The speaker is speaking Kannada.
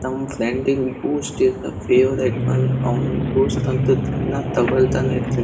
ನಮ್ ಫ್ರೆಂಡಿಗ್ Boost is the favourite one ಅವ್ನ್ ಬೂಸ್ಟ್ ಅಂತೂ ದಿನ ತೊಗೊಳ್ತಾನೇ ಇರ್ತನ್ --